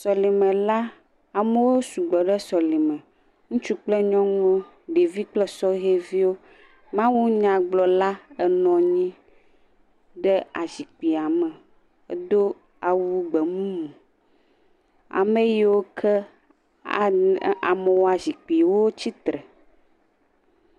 Sɔlime la, amewo sugbɔ ɖe sɔlime. Ŋutsu kple nyɔnuwo, ɖevi kple sɔhɛviwo. Mawunyagblɔla nɔ anyi ɖe azikpuia me. Edo awu gbemumu. Ame yiwo ke ana amewoa zikpui wotsi tre.